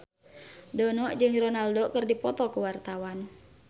Dono jeung Ronaldo keur dipoto ku wartawan